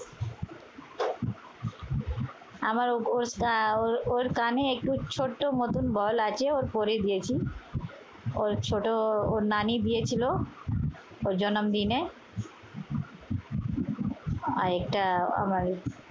আমার ওর আহ ওর কানে একটু ছোট্ট একটা বল আছে পরিয়ে দিয়েছি। ওর ছোট ওর নানি দিয়েছিল ওর জনম দিনে। আর এটা আমারই।